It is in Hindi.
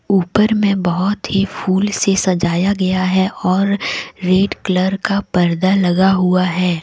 ऊपर में बहुत ही फूल से सजाया गया है और रेड कलर का पर्दा लगा हुआ है।